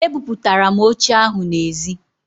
E buputara m oche ahụ n'ezi